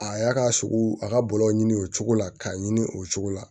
A y'a ka sogo a ka bɔlɔw ɲini o cogo la k'a ɲini o cogo la